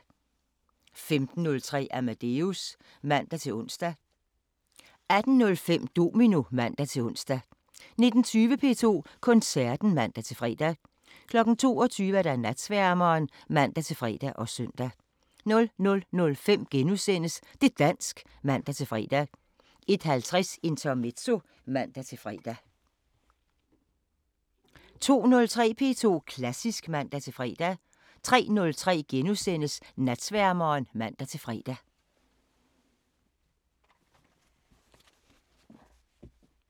15:03: Amadeus (man-ons) 18:05: Domino (man-ons) 19:20: P2 Koncerten (man-fre) 22:00: Natsværmeren (man-fre og søn) 00:05: Det' dansk *(man-fre) 01:50: Intermezzo (man-fre) 02:03: P2 Klassisk (man-fre) 03:03: Natsværmeren *(man-fre)